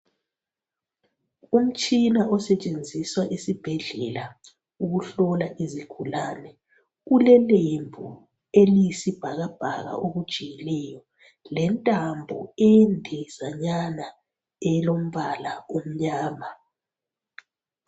Umtshina osetshenziswa esibhedlela ukuhlola izigulane ulelembu eliyisibhakabhaka elijiyileyo lentambo endezanyana elombala omnyama